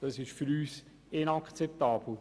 Das ist für uns inakzeptabel.